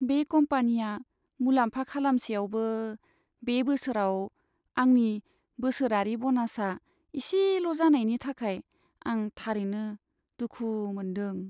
बे कम्पानिया मुलाम्फा खालामसेयावबो, बे बोसोराव आंनि बोसोरारि ब'नासआ इसेल' जानायनि थाखाय आं थारैनो दुखु मोन्दों।